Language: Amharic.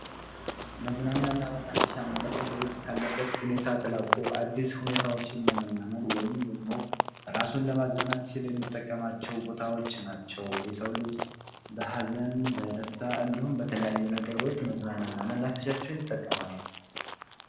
መናፈሻ ማለት በአብዛኛው ዛፎችና ሳሮች ያሉበት፣ ሰዎች ለመዝናናትና ንጹህ አየር ለመተንፈስ የሚሄዱበት የሕዝብ ቦታ (ፓርክ) ማለት ነው።